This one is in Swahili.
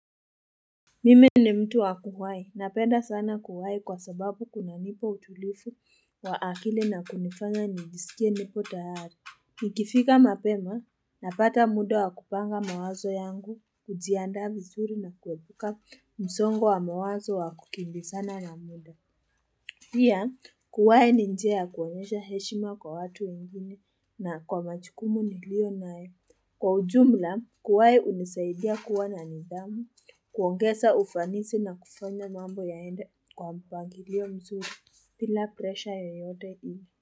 Mimi ni mtu wa kuwahi napenda sana kuwahi kwa sababu kunanipa utulivu wa akili na kunifanya nijisikie nipo tayari Nikifika mapema napata muda wa kupanga mawazo yangu kujianda vizuri na kuwepuka msongo wa mawazo wa kukimbazana na muda Pia kuwahi ni njia kuonyesha heshima kwa watu wengine na kwa majukumu niliyo nayo kwa ujumla kuwahi hunisaidia kuwa na nidhamu kuongeza ufanisi na kufanya mambo yaende kwa mpangilio mzuri bila presha yoyote ile.